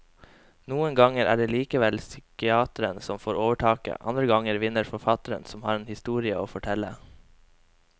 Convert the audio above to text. Noen ganger er det likevel psykiateren som får overtaket, andre ganger vinner forfatteren som har en historie å fortelle.